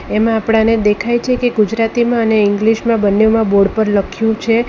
એમ આપણાને દેખાય છે કે ગુજરાતીમાં અને ઇંગ્લિશમાં બંનેમાં બોર્ડ પર લખ્યુ છે.